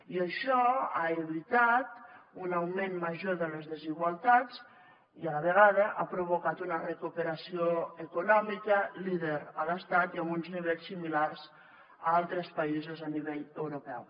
i això ha evitat un augment major de les desigualtats i a la vegada ha provocat una recuperació econòmica líder a l’estat i amb uns nivells similars a altres països a nivell europeu